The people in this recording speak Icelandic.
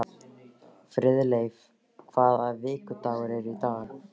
Friðleif, hvaða vikudagur er í dag?